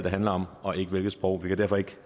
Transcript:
handler om og ikke hvilket sprog vi kan derfor ikke